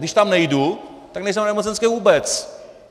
Když tam nejdu, tak nejsem na nemocenské vůbec.